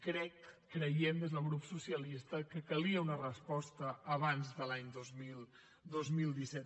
crec creiem des del grup socialista que calia una resposta abans de l’any dos mil disset